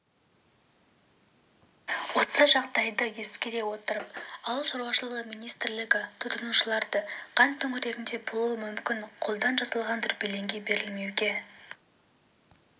осы жағдайды ескере отырып ауыл шаруашылығы министрлігі тұтынушыларды қант төңірегінде болуы мүмкін қолдан жасалған дүрбелеңге берілмеуге